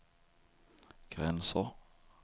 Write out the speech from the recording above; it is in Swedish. gränser